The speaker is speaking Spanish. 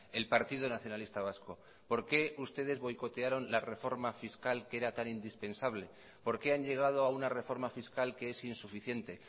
el partido nacionalista vasco por qué ustedes boicotearon la reforma fiscal que era tan indispensable por qué han llegado a una reforma fiscal que es insuficiente